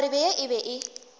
kgarebe ye e be e